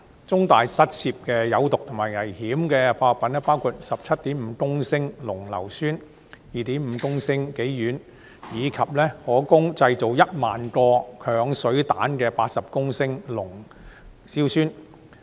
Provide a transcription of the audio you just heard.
中大失竊的有毒及危險化學品包括 17.5 公升濃硫酸、2.5 公升己烷，以及可供製造一萬個鏹水彈的80公升濃硝酸。